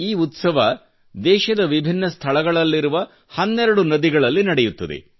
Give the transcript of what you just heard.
ಈ ಉತ್ಸವ ದೇಶದ ವಿಭಿನ್ನ ಸ್ಥಳಗಳಲ್ಲಿರುವ ಹನ್ನೆರಡು ನದಿಗಳಲ್ಲಿ ನಡೆಯುತ್ತದೆ